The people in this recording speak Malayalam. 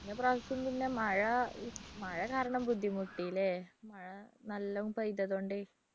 കഴിഞ്ഞപ്രാവശ്യം പിന്നെ മഴ മഴ കാരണം ബുദ്ധിമുട്ടി ഇല്ലേ മഴ നല്ലോ പെയ്തതുകൊണ്ടേ